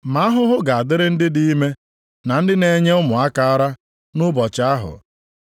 Ma ahụhụ ga-adịrị ndị dị ime, na ndị na-enye ụmụaka ara, nʼụbọchị ahụ.